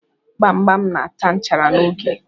Gbam gbam na ata nchara n'oge.